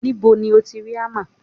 Níbo ti o ti rí hámà?